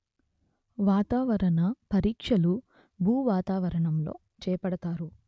వాతావరణ పరీక్షలు భూవాతావణంలో చేపడతారు